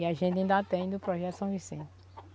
E a gente ainda tem do Projeto São Vicente.